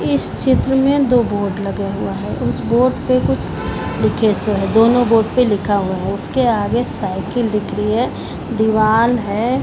इस चित्र में दो बोर्ड लगे हुए है उस बोर्ड पे कुछ लिखे से है दोनों बोर्ड पे लिखा हुआ है उसके आगे साइकिल दिख रही है दीवाल है।